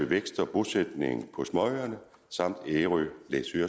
vækst og bosætning på småøerne samt ærø læsø og